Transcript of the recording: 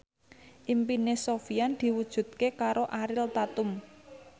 impine Sofyan diwujudke karo Ariel Tatum